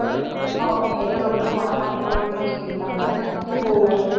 இது பண்றதுக்கு வரமாட்டோம் சொல்லிட்டாங்க